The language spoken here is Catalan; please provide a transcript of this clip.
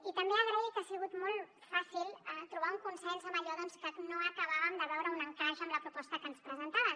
i també vull agrair que ha sigut molt fàcil trobar un consens en allò que no acabàvem de veure hi un encaix amb la proposta que ens presentaven